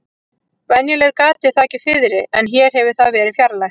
Venjulega er gatið þakið fiðri en hér hefur það verið fjarlægt.